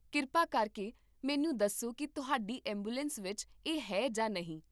ਕਿਰਪਾ ਕਰਕੇ ਮੈਨੂੰ ਦੱਸੋ ਕਿ ਤੁਹਾਡੀ ਐਂਬੂਲੈਂਸ ਵਿੱਚ ਇਹ ਹੈ ਜਾਂ ਨਹੀਂ